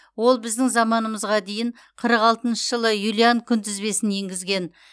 ол біздің заманымызға дейін қырық алтыншы жылы юлиан күнтізбесін енгізген